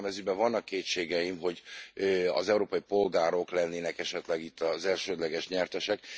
Bár nekem az ügyben vannak kétségeim, hogy az európai polgárok lennének e itt az elsődleges nyertesek.